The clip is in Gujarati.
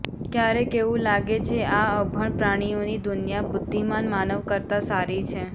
ક્યારેક એવું લાગે છે આ અભણ પ્રાણીઓની દુનિયા બુદ્ધિમાન માનવ કરતા સારી છે